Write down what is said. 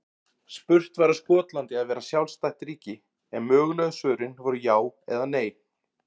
Spurt var á Skotland að vera sjálfstætt ríki? en mögulegu svörin voru já eða nei.